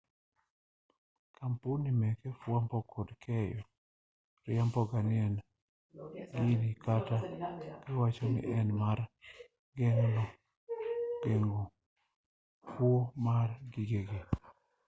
kampuni meke fwambo kod keyo riamboga etij gini ka giwachoni en mar geng'o kuo mar gigegi